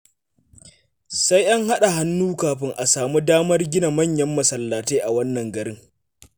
Sai an haɗa hannu kafin a samu damar gina manyan masallatai a wannan garin.